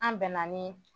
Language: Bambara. An bɛnna ni